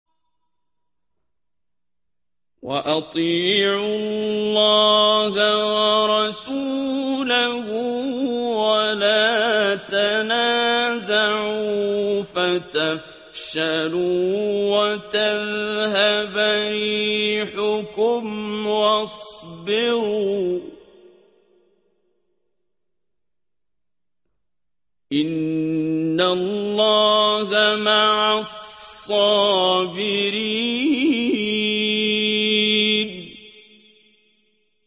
وَأَطِيعُوا اللَّهَ وَرَسُولَهُ وَلَا تَنَازَعُوا فَتَفْشَلُوا وَتَذْهَبَ رِيحُكُمْ ۖ وَاصْبِرُوا ۚ إِنَّ اللَّهَ مَعَ الصَّابِرِينَ